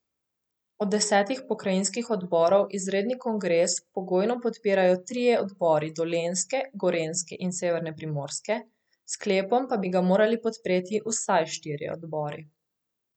Od desetih pokrajinskih odborov izredni kongres pogojno podpirajo trije odbori Dolenjske, Gorenjske in severne Primorske, s sklepom pa bi ga morali podpreti vsaj štirje odbori.